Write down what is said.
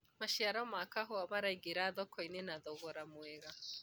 maciaro ma kahũa maraignĩra thoko-inĩ na thogora mwega